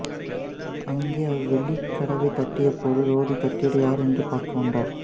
அங்கே அவர் வெளிக்கதவைத் தட்டியபோது ரோதி தட்டியது யாரெனப் பார்க்க வந்தார்